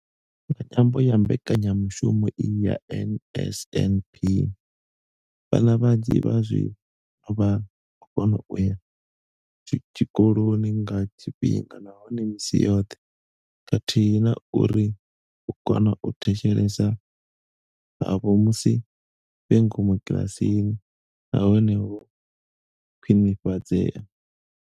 Nga ṅwambo wa mbekanya mushumo iyi ya NSNP, vhana vhanzhi zwazwino vha vho kona u ya tshikoloni nga tshifhinga nahone misi yoṱhe khathihi na uri u kona u thetshelesa havho musi vhe ngomu kiḽasini na hone ho khwinifhadzea.